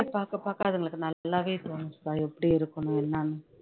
பாகக் பாக்க அதுங்களுக்கு நல்லாவே தோணுச்சுக்கா எப்படி இருக்கணும் என்னனு